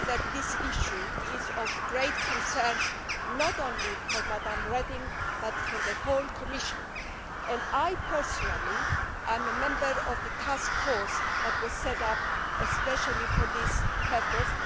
This issue is of great concern, not only to Mrs Reding, but to the whole Commission, and I personally am a member of the task force that was set up especially for this purpose.